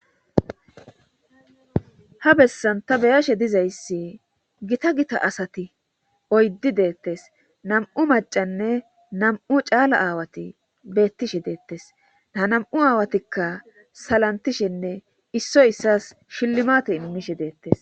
ha bessan ta be7ashe dizayssi gita gita asati oyddi deettes nam7u macanne nam7u caala aawati beettishe deettes a nam7u aawatikka salantishenne issoy issas shillmate inmishe deettes.